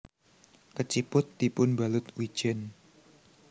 Keciput dipunbalut wijen